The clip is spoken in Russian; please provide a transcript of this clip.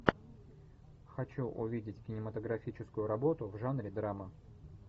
хочу увидеть кинематографическую работу в жанре драма